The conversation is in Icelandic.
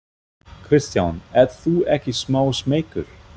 Kristján: Ert þú ekki smá smeykur?